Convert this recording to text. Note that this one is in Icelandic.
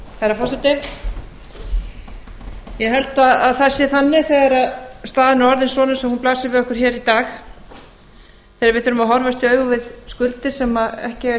herra forseti ég held að það sé þannig þegar staðan er orðin svona eins og hún blasir við okkur hér í dag þegar við þurfum að horfast í augu við skuldir sem ekki eiga